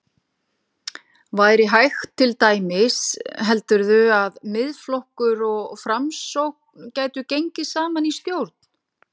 Væri hægt til dæmis, heldurðu að Miðflokkur og Framsókn gætu gengið saman í stjórn?